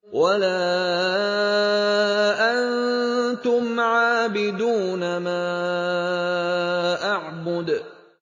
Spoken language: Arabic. وَلَا أَنتُمْ عَابِدُونَ مَا أَعْبُدُ